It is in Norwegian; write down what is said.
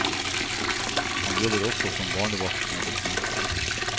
Han jobber også som barnevakt når det kniper.